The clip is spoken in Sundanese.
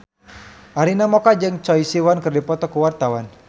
Arina Mocca jeung Choi Siwon keur dipoto ku wartawan